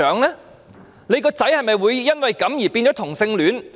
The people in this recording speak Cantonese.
她的孩子會否因此變成同性戀？